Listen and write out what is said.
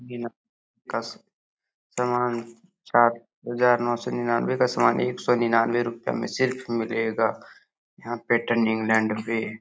बिना कस्ट सामान चार हजार नौ सो निन्यानवे का सामान एक सो निन्यानवे रुपए में सिर्फ मिलेगा यहॉं पीटर इंग्लैंड पे।